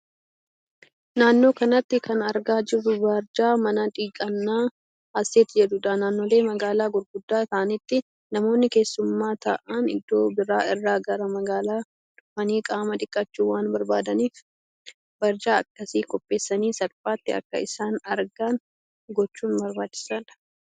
Naannoo kanatti kan argaa jirru barjaa mana dhiqannaa Hasset jedhuudha. Naannoolee magaalaa gurguddaa ta'aanitti namoonni keessummaa ta'aan iddoo biraa irra gara magaala dhufanii qaama dhiqachuu waan barbaadaniif barjaa akkasii qopheessanii salphaatti akka isaan argan gochuun barbaachisaa dha.